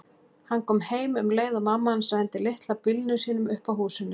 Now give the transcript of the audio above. Hann kom heim um leið og mamma hans renndi litla bílnum sínum upp að húsinu.